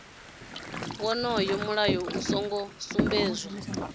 wonoyo mulayo u songo sumbedzwa